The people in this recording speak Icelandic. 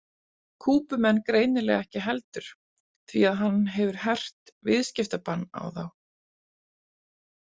Kúbumenn greinilega ekki heldur því að hann hefur hert viðskiptabann á þá.